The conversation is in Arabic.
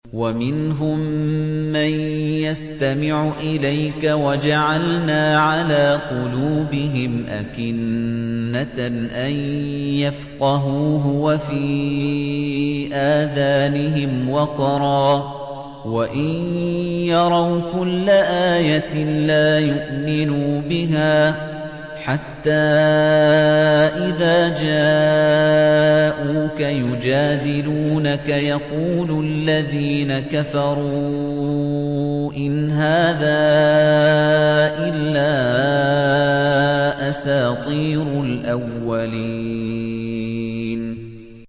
وَمِنْهُم مَّن يَسْتَمِعُ إِلَيْكَ ۖ وَجَعَلْنَا عَلَىٰ قُلُوبِهِمْ أَكِنَّةً أَن يَفْقَهُوهُ وَفِي آذَانِهِمْ وَقْرًا ۚ وَإِن يَرَوْا كُلَّ آيَةٍ لَّا يُؤْمِنُوا بِهَا ۚ حَتَّىٰ إِذَا جَاءُوكَ يُجَادِلُونَكَ يَقُولُ الَّذِينَ كَفَرُوا إِنْ هَٰذَا إِلَّا أَسَاطِيرُ الْأَوَّلِينَ